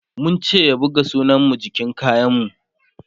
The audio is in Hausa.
mun ce ya buga sunan mu jikin kayan mu